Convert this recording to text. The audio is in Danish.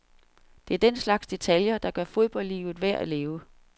Det er den slags detaljer, der gør fodboldlivet værd at leve.